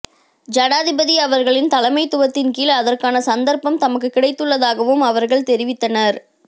ஜனாதிபதி அவர்களின் தலைமைத்துவத்தின் கீழ் அதற்கான சந்தர்ப்பம் தமக்கு கிடைத்துள்ளதாகவும் அவர்கள் தெரிவித்தனர்